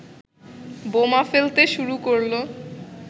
বোমা ফেলতে শুরু করলো।